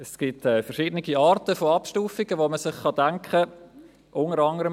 Es gibt verschiedene Arten von Abstufungen, welche man sich denken kann.